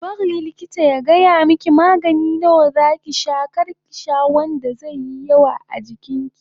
Ki bari likita ya gaya miki magani nawa zaki sha kar ki sha wanda zaiyi yawa a jikin ki